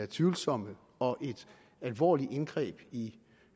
tvivlsomme og et alvorligt indgreb i